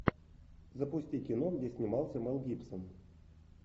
запусти кино где снимался мел гибсон